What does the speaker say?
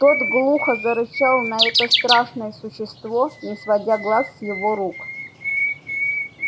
тот глухо зарычал на это страшное существо не сводя глаз с его рук